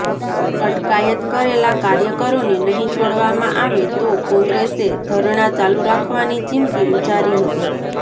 અટકાયત કરેલા કાર્યકરોને નહીં છોડવામાં આવે તો કોંગ્રેસે ધરણાં ચાલુ રાખવાની ચીમકી ઉચ્ચારી હતી